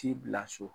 T'i bila so